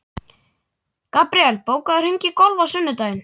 Gabriel, bókaðu hring í golf á sunnudaginn.